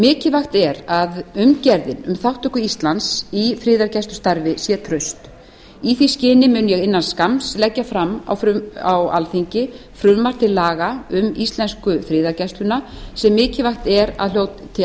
mikilvægt er að umgerðin um þátttöku íslands í friðargæslustarfi sé traust í því skyni mun ég innan skamms leggja fram frumvarp til laga um íslensku friðargæsluna sem mikilvægt er að hljóti